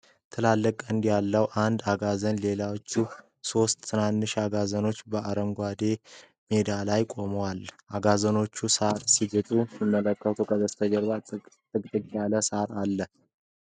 ትላልቅ ቀንድ ያለው አንድ አጋዘንና ሌሎች ሶስት ትናንሽ አጋዘኖች በአረንጓዴ ሜዳ ላይ ይቆማሉ። አጋዘኖቹ ሳር ሲግጡና ሲመለከቱ ከበስተጀርባ ጥቅጥቅ ያለ ሳር አለ።